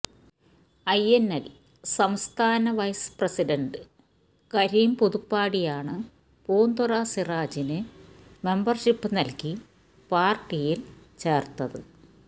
INL സംസ്ഥാന vice president Karim പുതുപ്പാടിയാണ് പൂന്തുറ സിറാജിന് മെമ്പര്ഷിപ്പ് നല്കി പാര്ട്ടിയില് ചേര്ത്തത്